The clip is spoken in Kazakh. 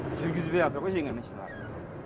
жүргізбейатыр ғой жеңіл машиналар